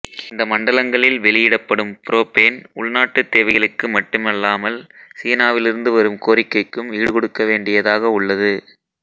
இந்த மண்டலங்களில் வெளியிடப்படும் புரோப்பேன் உள்நாட்டுத் தேவைகளுக்கு மட்டுமல்லாமல் சீனாவிலிருந்து வரும் கோரிக்கைக்கும் ஈடுகொடுக்க வேண்டியதாக உள்ளது